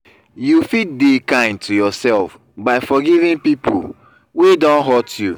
you fit de kind to yourself by forgiving pipo wey don hurt you